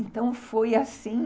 Então, foi assim...